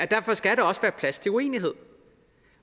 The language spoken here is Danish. derfor skal der også være plads til uenighed